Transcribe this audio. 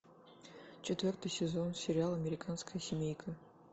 четвертый сезон сериала американская семейка